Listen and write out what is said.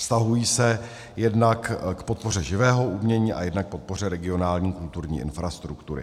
Vztahují se jednak k podpoře živého umění a jednak k podpoře regionální kulturní infrastruktury.